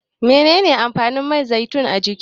Menene amfanin man zaitun a jiki?